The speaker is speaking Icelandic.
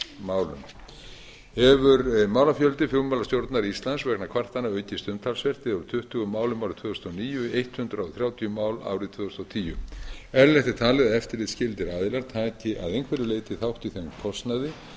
neytendamálum hefur málafjöldi flugmálastjórnar íslands vegna kvartana aukist umtalsvert eða úr tuttugu málum árið tvö þúsund og níu í hundrað þrjátíu mál árið tvö þúsund og tíu eðlilegt er talið að eftirlitsskyldir aðilar taki að einhverju leyti þátt í þeim kostnaði